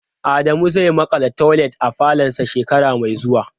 Adamu zai makala toilet a falonsa shekara mai zuwa.